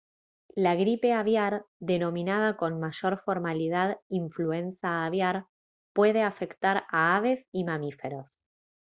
la gripe aviar denominada con mayor formalidad influenza aviar puede afectar a aves y mamíferos